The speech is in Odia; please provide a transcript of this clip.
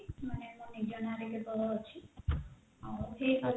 ମାନେ ମୋ ନିଜ ନାଁରେ କେବଳ ଅଛି ଆଉ